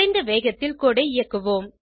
குறைந்த வேகத்தில் கோடு ஐ இயக்குவோம்